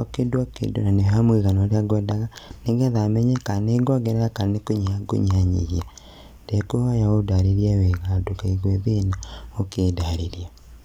o kĩndũ kĩndũ na nĩ harĩ mũigana ũrĩa kwendaga nĩgetha menye kana nĩ kuongerera kana nĩ kũnyihia ngũnyihanyihia. Ndekuhoya ũndarĩrie wega na ndũkaigue thĩna ũkĩndarĩria .